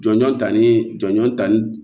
Jɔnjɔn ta ni jɔnjɔn ta ni